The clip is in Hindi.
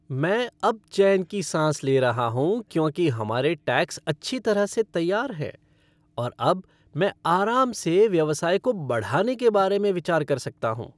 मैं अब चैन की साँस ले रहा हूँ क्योंकि हमारे टैक्स अच्छी तरह से तैयार हैं और अब मैं आराम से व्यवसाय को बढ़ाने के बारे में विचार कर सकता हूँ।